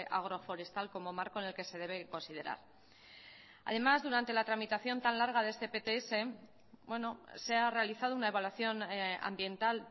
agroforestal como marco en el que se debe considerar además durante la tramitación tan larga de este pts se ha realizado una evaluación ambiental